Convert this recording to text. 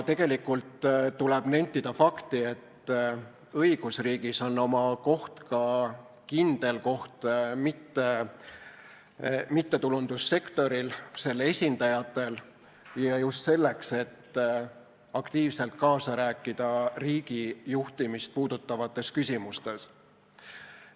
Tuleb nentida fakti, et õigusriigis on oma kindel koht ka mittetulundussektoril, selle esindajatel just selleks, et aktiivselt kaasa rääkida riigijuhtimist puudutavates küsimustes.